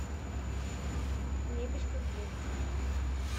мебелькомплект